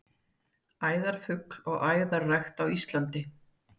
Æðarfugl og æðarrækt á Íslandi.